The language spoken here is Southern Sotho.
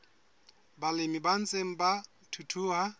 balemi ba ntseng ba thuthuha